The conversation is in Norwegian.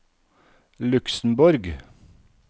Luxemborg